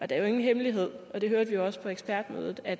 det er jo ingen hemmelighed og det hørte vi også på ekspertmødet at